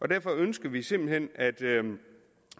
derfor ønsker vi simpelt hen at